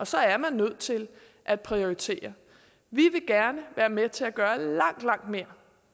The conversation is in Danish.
så er man nødt til at prioritere vi vil gerne være med til at gøre langt langt mere